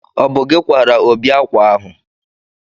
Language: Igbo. ọ bụ gị kwaara Obi akwa ahụ